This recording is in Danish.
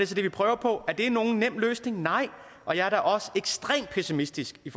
så det vi prøver på er det nogen nem løsning nej og jeg er da også ekstremt pessimistisk i